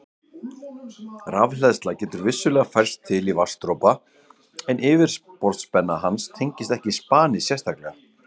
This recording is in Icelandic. Rafhleðsla getur vissulega færst til í vatnsdropa en yfirborðsspenna hans tengist ekki spani sérstaklega.